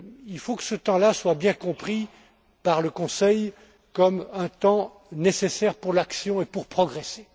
Il faut que ce temps là soit bien compris par le Conseil comme un temps nécessaire pour agir et pour progresser.